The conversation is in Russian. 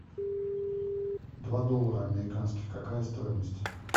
два доллара американских какая стоимость